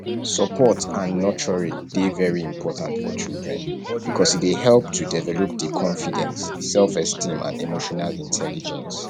support and nurturing dey very important for children because e dey help to develop di confidence selfesteem and emotional intelligence